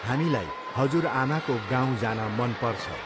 हामीलाई हजुरआमाको गाउँ जान मनपर्छ।